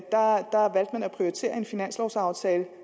prioritere en finanslovaftale